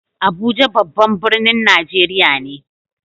Abuja babban birnin Najeriya ne.